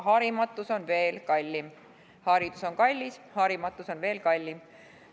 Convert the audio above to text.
Haridus on kallis, aga harimatus on veel kallim.